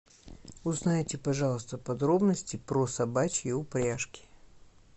узнайте пожалуйста подробности про собачьи упряжки